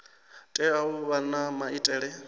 tea u vha na maitele